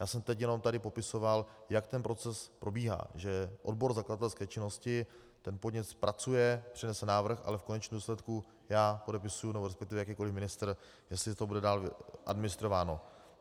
Já jsem teď jenom tady popisoval, jak ten proces probíhá, že odbor zakladatelské činnosti ten podnět zpracuje, přinese návrh, ale v konečném důsledku já podepisuji, nebo respektive jakýkoliv ministr, jestli to bude dál administrováno.